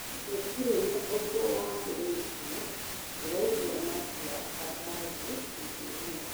Gũtirĩ na ũndũ wamũrĩtwo, ndĩraigua matua o mothe matũini make.